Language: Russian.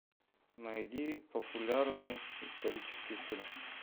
найди популярный исторический фильм